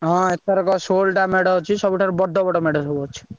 ହଁ ଏଥରକ ଷୋଳଟା ମେଢ ଅଛି ସବୁଠାରୁ ବଡ ବଡ ମେଢ ସବୁ ଅଛି।